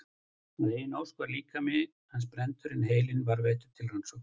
Að eigin ósk var líkami hans brenndur en heilinn varðveittur til rannsókna.